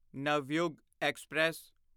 Navyug express